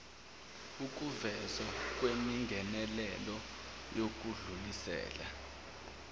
ukuvezwa kwemingenelelo yokudlulisela